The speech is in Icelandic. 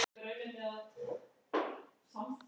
Er bara leiksoppur eins og